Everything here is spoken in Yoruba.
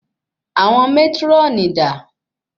Àwọn mátrónì dà?